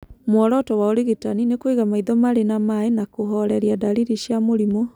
Muoroto wa ũrigitani nĩ kũiga maitho marĩ na maĩ na kũhoreria ndariri cia mũrimũ.